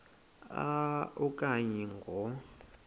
a okanye ngo